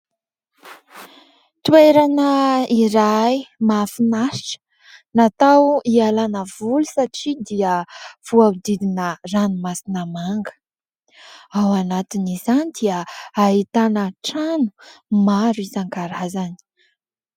Toerana iray mahafinaritra natao hialana voly satria dia voadidina ranomasina manga. Ao anatin' izany dia hahitana trano maro isankarazany.